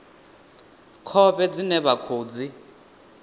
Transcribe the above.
khovhe dzine vha khou dzi